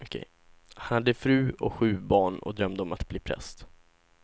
Han hade fru och sju barn och drömde om att bli präst.